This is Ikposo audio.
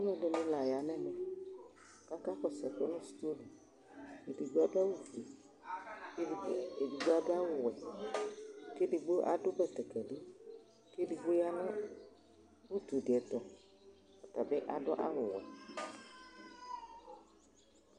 aloɛdini la ya n'ɛmɛ ko aka kɔsu ɛkò no stɔ li edigbo ado awu fue k'edigbo ado awu we k'edigbo ado batakari k'edigbo ya n'utu ɛdi to ɔtabi ado awu wɛ